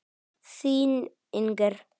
Þín, Inger.